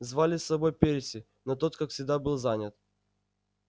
звали с собой перси но тот как всегда был занят